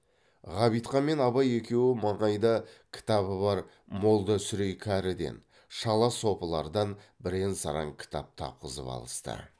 ғабитхан мен абай екеуі маңайда кітабы бар молда сүрей кәріден шала сопылардан бірен саран кітап тапқызып алысты